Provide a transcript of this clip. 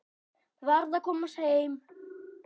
Varð að komast heim.